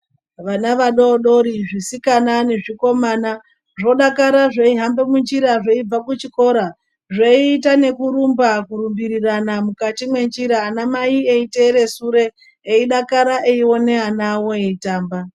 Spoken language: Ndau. Vana vadodori zvisikana nezvikomana zvodakara zveihamba munjira zveibva kuzvikora zveita nekurumba kurumbirirana mukati mwenjira ana mai mai eiteira sure eidakara eiona ana awo eitamba.